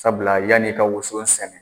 Sabula yanni i ka woson sɛnɛ.